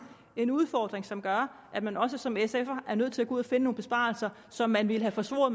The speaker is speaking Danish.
en udfordring som gør at man også som sf’er er nødt til at kunne finde nogle besparelser som man ville have forsvoret